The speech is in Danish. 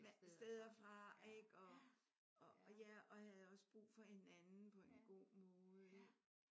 Steder fra ik? Og og ja og havde også brug for hinanden på en god måde ik?